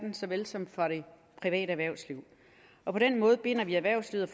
såvel som fra det private erhvervsliv og på den måde binder vi erhvervslivet